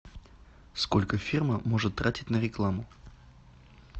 сколько фирма может тратить на рекламу